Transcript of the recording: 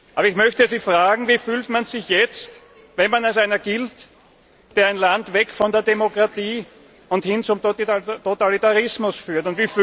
Aber ich möchte Sie fragen Wie fühlt man sich jetzt, wenn man als einer gilt, der ein Land weg von der Demokratie und hin zum Totalitarismus führt?